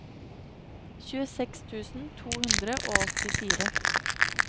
tjueseks tusen to hundre og åttifire